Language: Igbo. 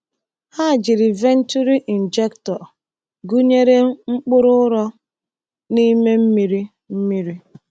Ha jiri venturi injector gụnyere mkpụrụ ụrọ n’ime mmiri mmiri.